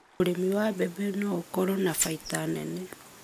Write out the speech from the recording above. Urĩmi wa mbembe no ũkorwo na baita nene